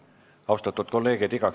Austatud kolleegid!